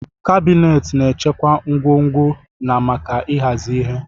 Kabinet na-echekwa ngwongwo na maka ịhazi ihe.